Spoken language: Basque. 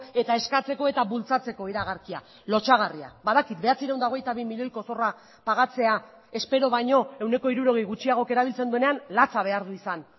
eta eskatzeko eta bultzatzeko iragarkia lotsagarria badakit bederatziehun eta hogeita bi milioiko zorra pagatzea espero baino ehuneko hirurogei gutxiagok erabiltzen duenean latza behar du izan